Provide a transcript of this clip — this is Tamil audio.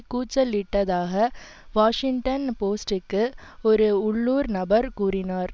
கூச்சலிட்டதாக வாஷிங்டன் போஸ்ட் டுக்கு ஒரு உள்ளூர் நபர் கூறினார்